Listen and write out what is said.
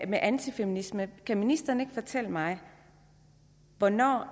med antifeminisme kan ministeren ikke fortælle mig hvornår